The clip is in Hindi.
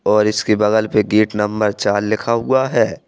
और इसके बगल पे गेट नंबर चार लिखा हुआ है।